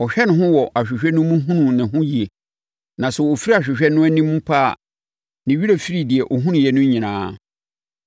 Ɔhwɛ ne ho wɔ ahwehwɛ no mu hunu ne ho yie na sɛ ɔfiri ahwehwɛ no anim ara pɛ a, ne werɛ firi deɛ ɔhunuiɛ no nyinaa.